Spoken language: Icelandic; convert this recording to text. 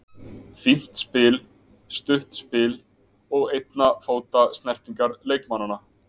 Fínt spil, stutt spil og einna fóta snertingar leikmanna.